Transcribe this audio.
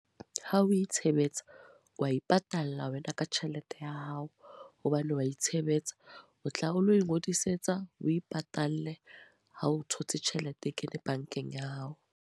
Ha o itshebetsa. Wa ipatalla wena ka tjhelete ya hao. Hobane wa itshebetsa. O tla o lo ingodisetsa, o ipatalle ha o thotse tjhelete e kena bankeng ya hao.